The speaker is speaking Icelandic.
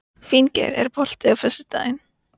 Finngeir, er bolti á föstudaginn?